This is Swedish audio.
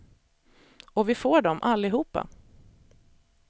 Och vi får dem, allihopa.